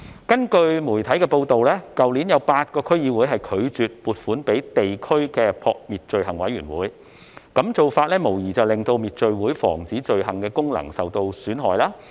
據媒體報道，去年有8個區議會拒絕撥款予地區滅罪會，這無疑令到滅罪會防止罪行的功能受損。